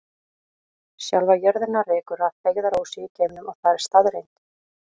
Sjálfa jörðina rekur að feigðarósi í geimnum og það er staðreynd.